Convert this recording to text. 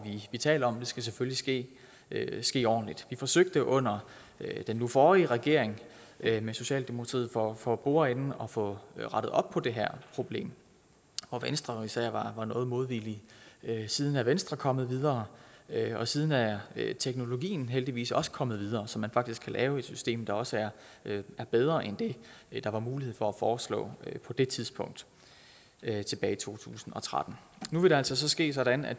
vi taler om og det skal selvfølgelig ske ske ordentligt vi forsøgte under den nu forrige regering med socialdemokratiet for for bordenden at få rettet op på det her problem hvor venstre især var noget modvillige siden er venstre kommet videre og siden er er teknologien heldigvis også kommet videre så man faktisk kan lave et system der også er er bedre end det der var mulighed for at foreslå på det tidspunkt tilbage i to tusind og tretten nu vil det altså ske sådan at